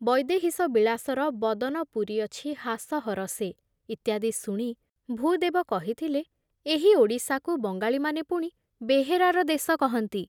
ବୈଦେହୀଶ ବିଳାସର ବଦନ ପୂରିଅଛି ହାସ ହରଷେ ଇତ୍ୟାଦି ଶୁଣି ଭୂଦେବ କହିଥିଲେ, ଏହି ଓଡ଼ିଶାକୁ ବଙ୍ଗାଳୀମାନେ ପୁଣି ବେହେରାର ଦେଶ କହନ୍ତି